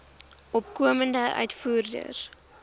opkomende uitvoerders